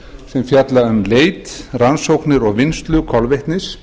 sem fjalla um leit rannsóknir og vinnslu kolvetnis